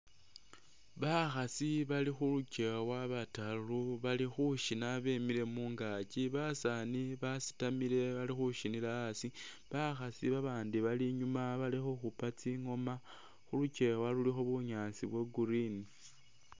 Bakhasi bali khulukyewa bataru bali khushina bimile mungakyi, basani basitamile bali khushinila asi, bakhasi ba bandi bali inyuma bali khukhupa tsingoma, khulukyewa khulikho bunyaasi bwa green.